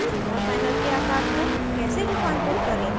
jmol panel के आकर को कैसे रूपांतरित करें :